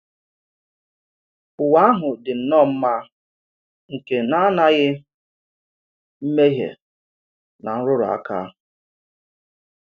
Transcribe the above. Ụ́wa ahụ dị nnọọ mma nke na-ànàghị mmehie na nrùrù aka.